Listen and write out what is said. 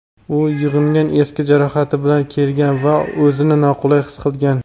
U yig‘inga eski jarohati bilan kelgan va o‘zini noqulay his qilgan.